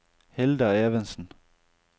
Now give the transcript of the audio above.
Hilda Evensen